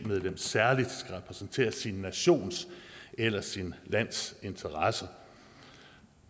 medlem særligt skal repræsentere sin nations eller sit lands interesser